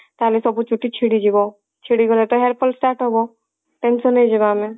ତାହାଲେ ସବୁ ଚୁଟି ଛିଡିଯିବ ଛିଡିଗଲେ ତ hair fall start ହବ tension ହେଇଯିବା ଆମେ